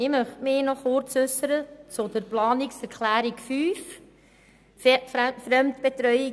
Ich möchte mich kurz zur Planungserklärung 5 äussern.